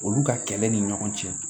Olu ka kɛlɛ ni ɲɔgɔn cɛ